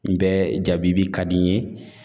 N bɛ jabibi ka di n ye